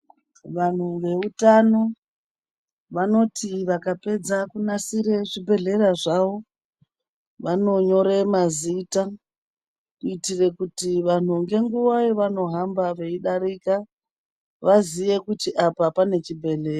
Vanhu veutano vanoti vakapedza kunasire zvibhedhlera zvavo, vanonyore mazita, kuitire kuti vanhu ngenguva yevanohamba veidarika, vaziye kuti apa pane chibhedhlera.